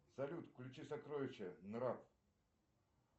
салют включи сокровища нрав